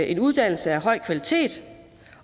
en uddannelse af høj kvalitet